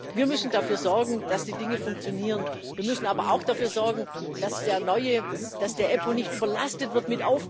Wir müssen dafür sorgen, dass die Dinge funktionieren. Wir müssen aber auch dafür sorgen, dass die EUStA nicht mit Aufgaben überlastet wird.